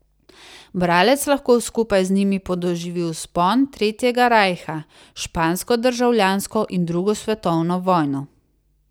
Bralec lahko skupaj z njimi podoživi vzpon tretjega rajha, špansko državljansko in drugo svetovno vojno.